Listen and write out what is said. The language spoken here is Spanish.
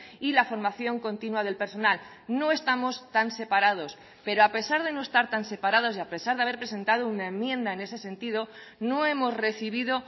y la formación continua del personal no estamos tan separados pero a pesar de no estar tan separados y a pesar de haber presentado una enmienda en ese sentido no hemos recibido